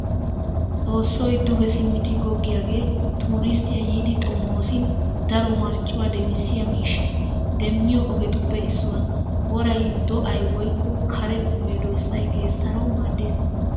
Soossoy duge simmidi goggiyaagee tuuristteti yiiddi xomoosin daro marccuwa demissiya miishshaa demmiyo ogetuppe issuwa. Woray do'ay woykko kare medossay geessanawu maaddes.